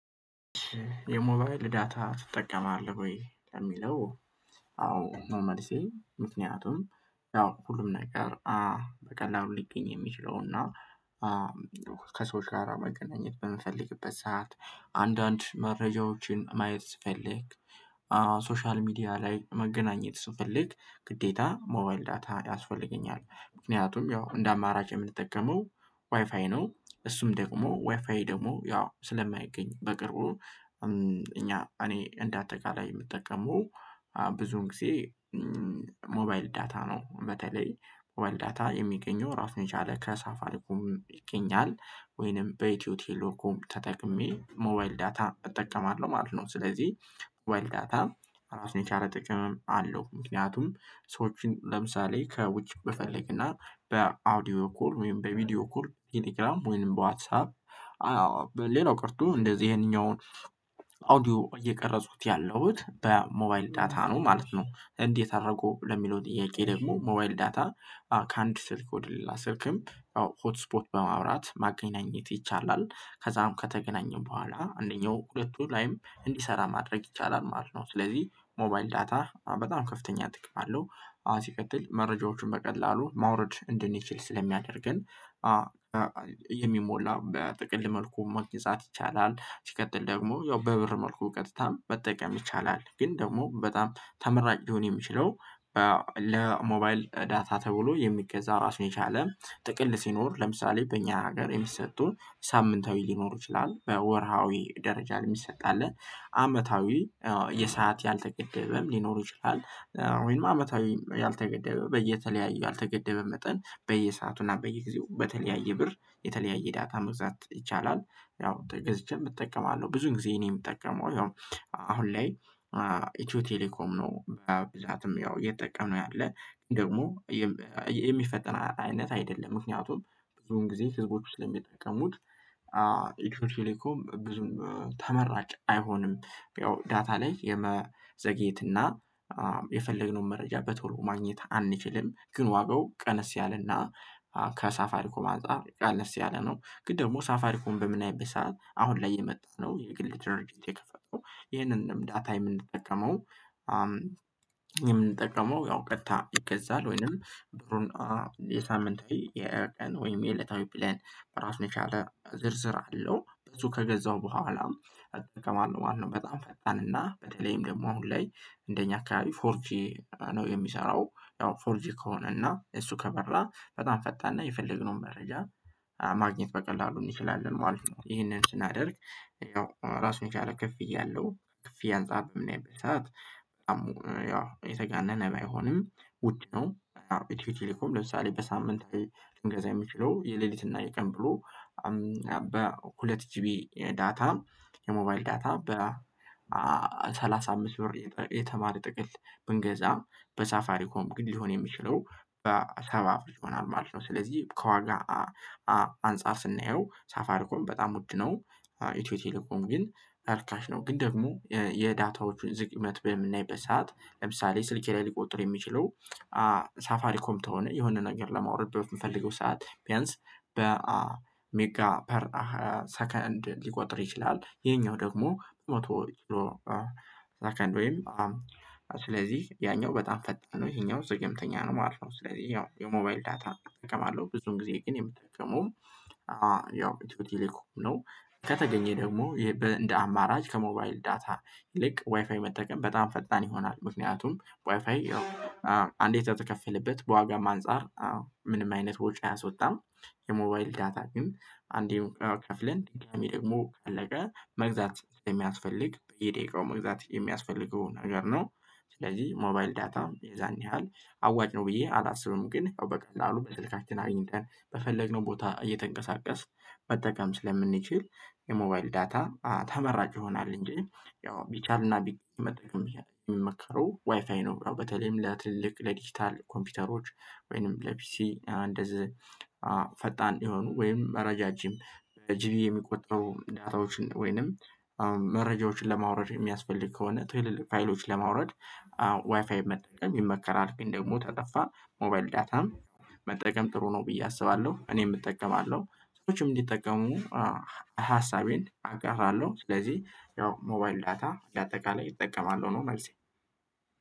የሞባይል ዳታ ትጠቀማለህ ወይ ከሚለው? አዎ መመልሴ ምክንያቱም ያው ሁሉም ነገር በቀላሉ ሊገኝ የሚችለው እና ከሰዎች ጋራ መገናኘት በምንፈልግበት ሰዓት አንዳንድ መረጃዎችን ማየት ስፈልግ። ሶሻል ሚዲያ ላይ መገናኘት ስፈልግ ግዴታ ሞባይል ዳታ ያስፈልገኛል ምክንያቱም ያው እንደ አማራጭ የምንጠቀመው ዋይፋይ ነው እሱም ደግሞ ዋይፋይ ደግሞ ያው ስለማይገኝ በቅርቡ እኛ እኔ እንደ አጠቃላይ የምጠቀመው። ብዙን ጊዜ ሞባይል ዳታ ነው። በተለይ ሞባይል ዳታ የሚገኘው ራሱን የቻለ ከሳፋልኩም ይገኛል ወይንም በኢትዮጵያ ቴሌኮም ተጠቅሜ ሞባይል ዳታ እጠቀማለሁ ማለት ነው። ስለዚህ ሞባይል ዳታ እራሱን የቻለ ጥቅም አለው። ምክንያቱም ሰዎችን ለምሳሌ ከውጭ ብፈልግና በአውዲዮ እኩል ወይም በቪዲዮ እኩል ቲኒግራም ወይም በዋትሳፕ። አዎ ሌላው ቀርቶ እንደዚህ ይሄንኛውን አውዲዮ እየቀረጹት ያለሁት በሞባይል ዳታ ነው ማለት ነው። እንዴት አደረገው ለሚለው ጥያቄ ደግሞ ሞባይል ዳታ ከአንድ ስልክ ወደሌላ ስልክም ሆት ስፖት በማውራት ማገናኘት ይቻላል። ከዛም ከተገናኙ በኋላ አንደኛው ሁለቱ ላይም እንዲሰራ ማድረግ ይቻላል ማለት ነው። ስለዚህ ሞባይል ዳታ በጣም ከፍተኛ ጥቅም አለው። ሲቀጥል መረጃዎቹን በቀላሉ ማውረድ እንድንችል ስለሚያደርገን። የሚሞላ በጥቅል መልኩ መግዛት ይቻላል። ሲቀጥል ደግሞ ያው በብር መልኩ እውቀትታም መጠቀም ይቻላል። ግን ደግሞ በጣም ተመራጭ ሊሆን የሚችለው ለሞባይል ዳታ ተብሎ የሚገዛ ራሱን የቻለ ጥቅል ሲኖር ለምሳሌ በእኛ ሀገር የሚሰጡ ሳምንታዊ ሊኖሩ ይችላል። በወርሃዊ ደረጃ ለሚሰጣለት አመታዊ የሰዓት ያልተገደበም ሊኖሩ ይችላል። ወይም አመታዊ ያልተገደበ በየተለያየ ያልተገደበ መጠን በየሰአቱና በየጊዜው በተለያየ ብር የተለያየ ዳታ መግዛት ይቻላል። ያው ተገዝቼም እጠቀማለሁ ብዙ ጊዜ እኔ የምጠቀመው አሁን ላይ ኢትዮ ቴሌኮም ነው። ብዛትም ያው እየተጠቀመ ያለ ደግሞ የሚፈጠን አይነት አይደለም ምክንያቱም ብዙን ጊዜ ህዝቦች ስለሚጠቀሙት። ቴሌኮም ብዙም ተመራጭ አይሆንም። ያው ዳታ ላይ የመዘግየት እና የፈለግነውን መረጃ በቶሎ ማግኘት አንችልም። ግን ዋጋው ቀነስ ያለና ከሳፋሪኮ ማንጻፍ አነስ ያለ ነው። ግን ደግሞ ሳፋሪኮን በምን አይነት ሰዓት አሁን ላይ የመጣው የግል ድርጅት የከፈተው። ይሄንንም ዳታ የምንጠቀመው የምንጠቀመው ያው ቀጥታ ይገዛል ወይንም ብሩን የሳምንት የየየለታዊ ብለን በራሱ የቻለ ዝርዝር አለው። በዙ ከገዛው በኋላ ከማነው ማነው በጣም ፈጣን እና በተለይም ደግሞ አሁን ላይ እንደኛ አካባቢ ፎርጂ ነው የሚሰራው። ያው ፎርጂ ከሆነ እና እሱ ከበራ በጣም ፈጣን ነው የፈለግነው መረጃ ማግኘት በቀላሉ እንችላለን ማለት ነው። ይሄንን ስናደርግ ያው ራሱን ቻለ ክፍያ እያለው ከፍ አንጻትም ያንበሳት በጣም ያው የተጋነነ አይሆንም ውድ ነው። ኢትዮጵያ ሌኮም ለምሳሌ በሳምንት ላይ መገዛየም የሚችለው የሌሊት እና የቀን ብሎ በሁለት ጂቢ ዳታ የሞባይል ዳታ በሰላሳ አምስት ብር የተማር ጥቅል ብንገዛ በሳፋሪኮም ግድ ሊሆን የሚችለው በሰባ ብር ይሆናል ማለት ነው። ስለዚህ ከዋጋ አንፃር ስናየው ሳፋርኮን በጣም ውድ ነው። ኢትዮ ቴሌኮም ግን አርካሽ ነው። ግን ደግሞ የዳታዎቹን ዝግመት በምናይበት ሰዓት ለምሳሌ ስልኬ ላይ ሊቆጥሩ የሚችሉ ሳፋሪ ኮምፕ ተሆነ የሆነ ነገር ለማውረድ በምፈልገው ሰዓት ቢያንስ በሜጋ ፐር ሰከንድ ሊቆጥር ይችላል። ይሄኛው ደግሞ መቶ ሰከንድ ወይም ስለዚህ ያኛው በጣም ፈጣን ነው ይሄኛው ዘገምተኛ ነው ማለት ነው። ስለዚህ ያው የሞባይል ዳታ እጠቀማለሁ ብዙን ጊዜ ግን የምጠቀመው ያው የትውልድ ይልቅ ነው። ከተገኘ ደግሞ እንደ አማራጭ ከሞባይል ዳታ ይልቅ ዋይፋይ መጠቀም በጣም ፈጣን ይሆናል። ምክንያቱም ዋይፋይ አንዴ ተከፈለበት በዋጋም አንፃር ምንም አይነት ወጪ አያወጣም። የሞባይል ዳታ ግን አንዴ ከፍለን ድጋሚ ደግሞ ካለቀ መግዛት ስለሚያስፈልግ የደቂቃው መግዛት የሚያስፈልገው ነገር ነው። ስለዚህ ሞባይል ዳታም የዛን ያህል አዋጅ ነው ብዬ አላስብም። ግን በቀላሉ በትልቃችን አግኝተን በፈለግነው ቦታ እየተንቀሳቀስ መጠቀም ስለምንችል የሞባይል ዳታ ተመራጭ ይሆናል። እንጂ ያው ቢቻልና ቢመጣ የሚመከረው ዋይፋይ ነው። በተለይም ለትልቅ ለዲጂታል ኮምፒውተሮች ወይንም ለፒሲ እንደዚህ ፈጣን የሆኑ ወይንም ረዣዥም በጂቢ የሚቆጠሩ ዳታዎችን ወይንም መረጃዎችን ለማውረድ የሚያስፈልግ ከሆነ ትዌልል ፋይሎችን ለማውረድ ዋይፋይ መጠቀም ይመከራል። ግን ደግሞ ተጠፋ ሞባይል ዳታም መጠቀም ጥሩ ነው ብዬ አስባለሁ። እኔም እጠቀማለሁ ሰዎችም እንዲጠቀሙ ሀሳቤን አጋራለሁ። ስለዚህ ያው ሞባይል ዳታ ለአጠቃላይ ይጠቀማል ሆኖ መልሴ